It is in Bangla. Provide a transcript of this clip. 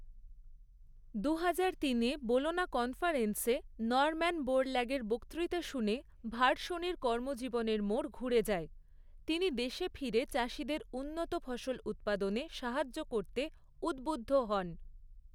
দুহাজার তিনে বোলোনা কনফারেন্সে নর্ম্যান বোরল্যাগের বক্তৃতা শুনে ভার্শনির কর্মজীবনের মোড় ঘুরে যায়, তিনি দেশে ফিরে চাষীদের উন্নত ফসল উৎপাদনে সাহায্য করতে উদ্বুদ্ধ হন।